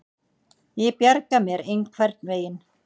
Ég bjarga mér einhvern veginn.